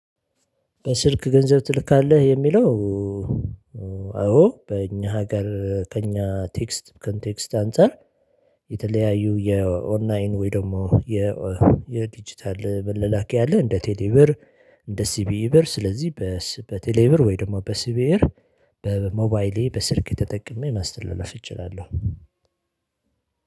በስልክ ገንዘብ ትልካለህ? የሚለው አዎ በእኛ ሀገር ከእኛ ቴክስት ኮንቴክስት አንፃር የተለያዩ የኦንላይን ወይ ደግሞ የዲጂታል መላላኪያ አለ እንደ ቴሌብር እንደ ሲቢኢ ብር ስለዚህ በቴሌብር ወይ ደግሞ በሲቢኢብር በሞባይሌ በስልክ ተጠቅሜ ማስተላለፍ እችላለሁ